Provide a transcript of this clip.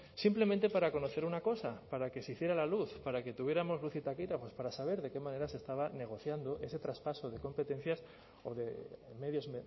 simplemente para conocer una cosa para que se hiciera la luz para que tuviéramos luz y taquígrafos para saber de qué manera se estaba negociando este traspaso de competencias o de medios